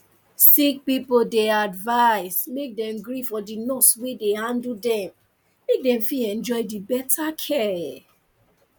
sick pipo dey advise make dem gree for the nurse wey dey handle dem make dem fit enjoy the better care